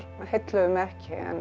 heilluðu mig ekki